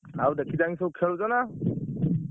ଆଉ ଦେଖି ଚାହିଁ ସବୁ ଖେଳୁଛ ନା?